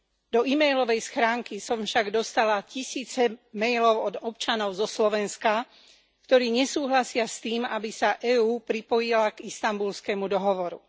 Do emailovej schránky som však dostala tisíce mailov od občanov zo Slovenska, ktorí nesúhlasia s tým, aby sa EÚ pripojila k Istanbulskému dohovoru.